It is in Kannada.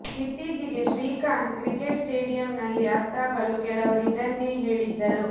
ಇತ್ತೀಚೆಗೆ ಶ್ರೀಕಾಂತ್ ಕ್ರೀಕೆಟ್ ಸ್ಟೇಡಿಯಂ ನಲ್ಲಿ ಅತ್ತಾಗಲೂ ಕೆಲವರು ಇದನ್ನೇ ಹೇಳಿದ್ದರು